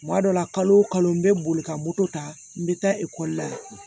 Kuma dɔ la kalo o kalo n bɛ boli ka moto ta n bɛ taa ekɔli la